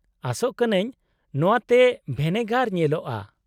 -ᱟᱥᱚᱜ ᱠᱟᱹᱱᱟᱹᱧ ᱱᱚᱶᱟ ᱛᱮ ᱵᱷᱮᱱᱮᱜᱟᱨ ᱧᱮᱞᱚᱜᱼᱟ ᱾